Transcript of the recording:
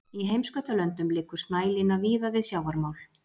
í heimskautalöndum liggur snælína víða við sjávarmál